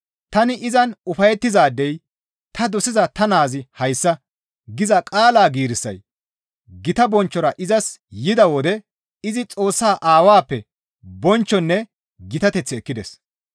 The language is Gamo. «Tani izan ufayettizaadey ta dosiza ta naazi hayssa» giza qaala giirissay gita bonchchora izas yida wode izi Xoossaa Aawappe bonchchonne gitateth ekkides.